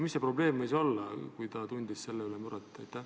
Mis see probleem võis olla?